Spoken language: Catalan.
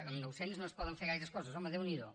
amb nou cents no es poden fer gaires coses home déu n’hi do